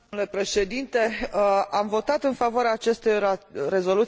Am votat în favoarea acestei rezoluții din două rațiuni.